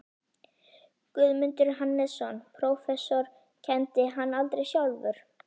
Guðmundur Hannesson, prófessor, kenndi hana aldrei sjálfur.